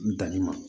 Danni ma